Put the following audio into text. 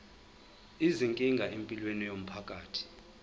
izinkinga empilweni yomphakathi